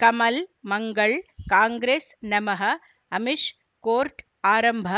ಕಮಲ್ ಮಂಗಳ್ ಕಾಂಗ್ರೆಸ್ ನಮಃ ಅಮಿಷ್ ಕೋರ್ಟ್ ಆರಂಭ